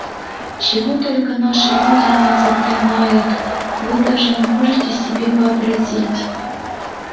чего только наши люди не заклинают вы даже не можете себе вообразить